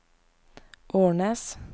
Ornes